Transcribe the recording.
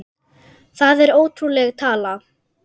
Það er ótrúleg tala.